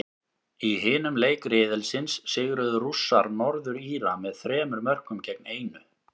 Í hinum leik riðilsins sigruðu Rússar, Norður Íra, með þremur mörkum gegn einu.